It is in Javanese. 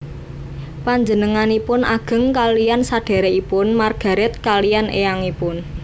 Panjenenganipun ageng kaliyan sadhèrèkipun Margaret kaliyan éyangipun